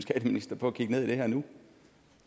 skatteminister på at kigge ned i det her nu